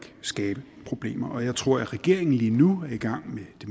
skabe problemer og jeg tror at regeringen lige nu er i gang med det